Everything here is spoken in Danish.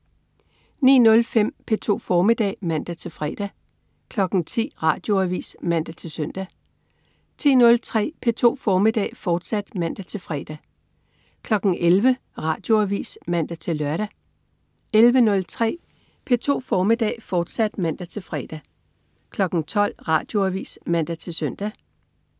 09.05 P2 formiddag (man-fre) 10.00 Radioavis (man-søn) 10.03 P2 formiddag, fortsat (man-fre) 11.00 Radioavis (man-lør) 11.03 P2 formiddag, fortsat (man-fre) 12.00 Radioavis (man-søn)